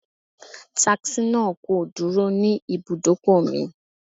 Taxi náà kò dúró ní ibùdókò mi.